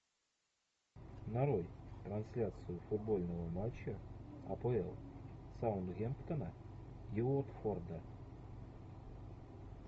нарой трансляцию футбольного матча апл саутгемптона и уотфорда